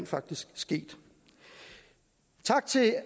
faktisk sket tak til